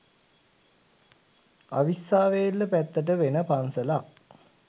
අවිස්සාවේල්ල පැත්තට වෙන පන්සලක්